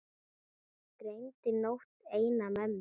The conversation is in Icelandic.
Dreymdi nótt eina mömmu.